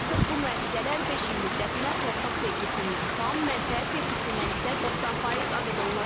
Artıq bu müəssisələr beş il müddətinə torpaq vergisindən tam, mənfəət vergisindən isə 90% azad olunacaq.